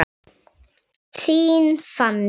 Þín Fanný.